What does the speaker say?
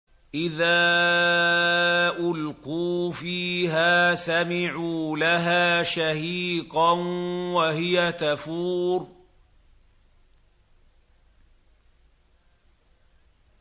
إِذَا أُلْقُوا فِيهَا سَمِعُوا لَهَا شَهِيقًا وَهِيَ تَفُورُ